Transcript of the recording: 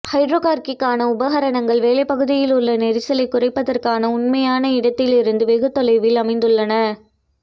ஹைட்ரோகாக்கிற்கான உபகரணங்கள் வேலைப்பகுதியில் உள்ள நெரிசலைக் குறைப்பதற்கான உண்மையான இடத்திலிருந்து வெகு தொலைவில் அமைந்துள்ளன